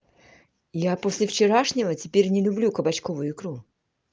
я после вчерашнего теперь не люблю кабачковую икру